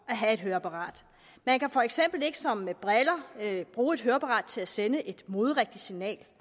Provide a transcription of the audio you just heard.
at have et høreapparat man kan for eksempel ikke som med briller bruge et høreapparat til at sende et moderigtigt signal